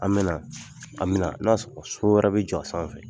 An bɛna , an bɛna n'o y'a sɔrɔ so wɛrɛ bɛ jɔ a sanfɛ.